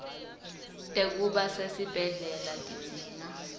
tekuba sesibhedlela tidzinga